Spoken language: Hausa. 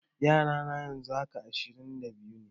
Yara na yanzu haka, ashirin da biyu.